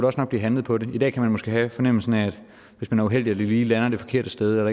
også nok blive handlet på det i dag kan man måske have fornemmelsen af at hvis man er uheldig og det lige lander det forkerte sted eller